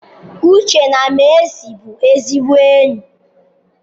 Uche na Mercy bụ ezigbo enyi.